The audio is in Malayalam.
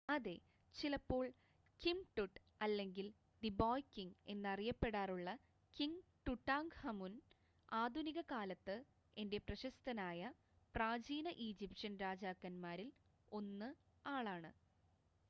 "അതെ! ചിലപ്പോൾ "കിംങ് ടുട്" അല്ലെങ്കിൽ "ദി ബോയ് കിംങ്" എന്ന് അറിയപ്പെടാറുള്ള കിംങ് ടുടാങ്ക്ഹമുൻ ആധുനിക കാലത്ത് ഏറെ പ്രശസ്തനായ പ്രാചീന ഈജിപ്ഷ്യൻ രാജാക്കൻമാരിൽ 1 ആളാണ്